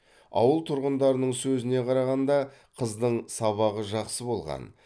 ауыл тұрғындарының сөзіне қарағанда қыздың сабағы жақсы болған